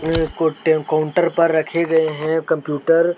Counter पर रखे गए हैं कंप्यूटर ।